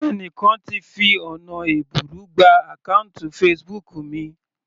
Ẹni kan ti fi ọ̀nà ẹ̀bùrú gba àkọ́ùntì Facebook mi.